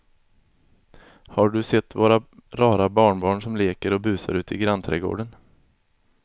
Har du sett våra rara barnbarn som leker och busar ute i grannträdgården!